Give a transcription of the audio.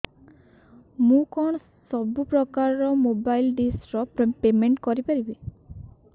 ମୁ କଣ ସବୁ ପ୍ରକାର ର ମୋବାଇଲ୍ ଡିସ୍ ର ପେମେଣ୍ଟ କରି ପାରିବି